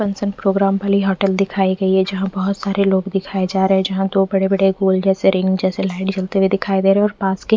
function programme भलेई hotel दिखाई गई है जहाँ बहोत सारे लोग दिखाई जा रहे है जहाँ बड़े बड़े होल जैसे रिंग जैसे लाईट झलते हुए दिखाई दे रहे है और पास के--